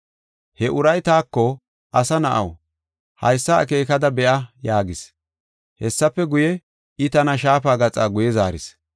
He uray taako, “Asa na7aw, haysa akeekada be7a?” yaagis. Hessafe guye, I tana shaafa gaxa guye zaaris.